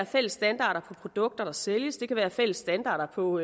fælles standarder for produkter der sælges det kan være fælles standarder på